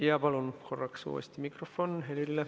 Jaa, palun korraks uuesti mikrofon Helirile.